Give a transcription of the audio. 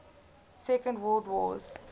second world wars